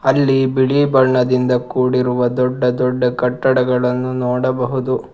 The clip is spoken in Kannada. ಅಲ್ಲಿ ಬಿಳಿ ಬಣ್ಣದಿಂದ ಕೂಡಿರುವ ದೊಡ್ಡ ದೊಡ್ಡ ಕಟ್ಟಡಗಳನ್ನು ನೋಡಬಹುದು.